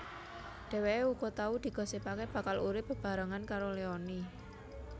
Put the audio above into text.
Dheweké uga tau digosipaké bakal urip bebarengan karo Leony